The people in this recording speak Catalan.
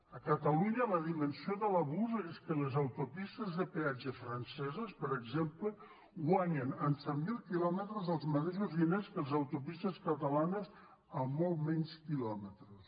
a catalunya la dimensió de l’abús és que les autopistes de peatge franceses per exemple guanyen en set mil quilòmetres els mateixos diners que les autopistes catalanes en molts menys quilòmetres